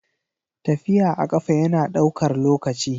Tafiya a ƙafa yana ɗaukar lokaci.